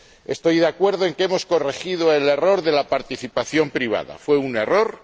Estoy de acuerdo en que hemos corregido el error de la participación privada fue un error